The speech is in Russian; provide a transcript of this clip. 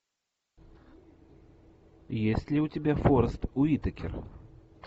есть ли у тебя форест уитакер